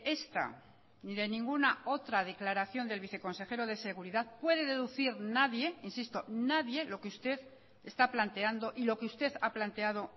esta ni de ninguna otra declaración del viceconsejero de seguridad puede deducir nadie insisto nadie lo que usted está planteando y lo que usted ha planteado